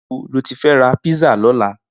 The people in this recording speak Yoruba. Nibó ló ti fè rà pizza lòlá?